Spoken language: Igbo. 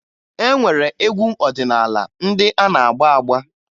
E nwere egwu ọdịnaala ndị a na-agba agba